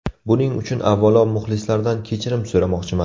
Buning uchun, avvalo, muxlislardan kechirim so‘ramoqchiman.